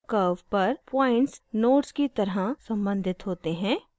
curve पर points nodes की तरह सम्बंधित होते हैं